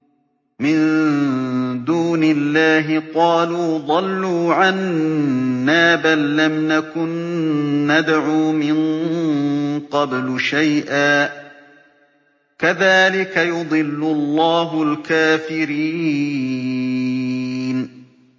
مِن دُونِ اللَّهِ ۖ قَالُوا ضَلُّوا عَنَّا بَل لَّمْ نَكُن نَّدْعُو مِن قَبْلُ شَيْئًا ۚ كَذَٰلِكَ يُضِلُّ اللَّهُ الْكَافِرِينَ